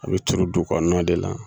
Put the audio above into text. A bɛ turu dugu kɔnɔna de la